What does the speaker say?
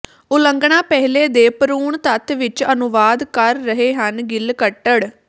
ਉਲੰਘਣਾ ਪਹਿਲੇ ਦੇ ਭ੍ਰੂਣ ਤੱਤ ਵਿੱਚ ਅਨੁਵਾਦ ਕਰ ਰਹੇ ਹਨ ਗਿੱਲ ਕੱਟੜ